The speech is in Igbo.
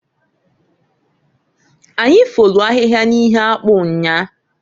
Anyi folu ahịhịa n'ihe akpụ nnyaa.